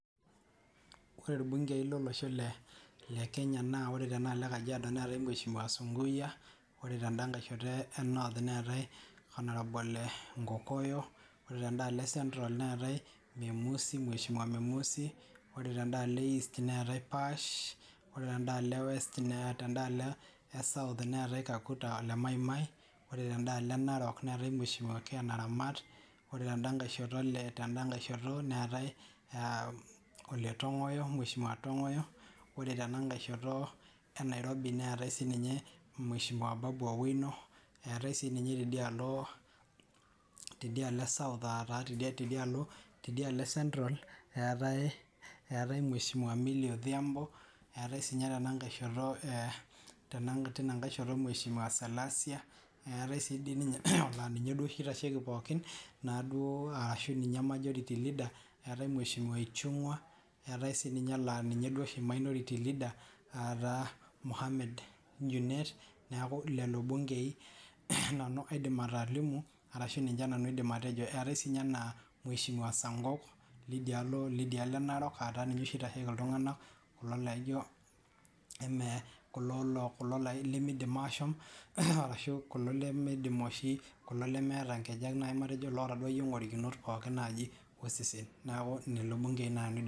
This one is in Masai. ore irbungei lolosho le kenya naa ore tena alo ee kajiado neetae mheshimiwa Sunkuya ore tenda nkae sheto ee north neetae honorable Nkokoyo ore tendaa alo ee central neetae Memusi ore tenda aloo ee east neetae Paash ore tenda alo ee west neetae ore tendaloo ee Narok neetae mheshimiwa Ken Naramat ore tendaa nkae sheto neetae ole ntong'oyo ore tena nkae sheto ee nairobi neetae sininye Babu Owino eetae sininye teidia alo ee central eeetae Milly Odhiambo eetae sinye tena nkae sheto mheshimiwa Salasya neetae dii sininye laa ninye oshii taata oitasheki pookin naa duo ashuu ninye majority lida eetae mheshimiwa Ichungwa neetae naa laa ninye oshi ataa Mohammed neeku lelo ilbungei nanu kaidim atolimu arashu ninye nanu kaidim atejo neetae sinye mheshimiwa Sankok leidia alo ee Narok aata ninye oshii taata oitaashoki iltung'anak kulo lemeidim ashom ashuu kulo lemeidim oshi kulo lemeeta inkejek nayii matejo laata ake iye ing'orikinot pooki naji osesen.